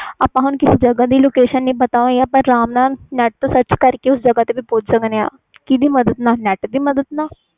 ਆਪਾ ਨੂੰ ਕਿਸੇ ਜਗ੍ਹਾ ਦੀ location ਨਾ ਪਤਾ ਹੋਵੇ ਆਪਾ location sarch ਕਰਕੇ ਬਹੁਤ ਅਹਸਾਨੀ ਨਾਲ ਪੁਹੰਚ ਸਕਦੇ ਆ net ਦੀ ਮਦਦ ਨਾਲ